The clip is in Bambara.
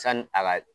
Sanni a ka